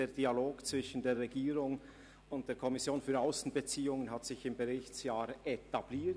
Der Dialog zwischen der Regierung und der SAK hat sich im Berichtsjahr etabliert.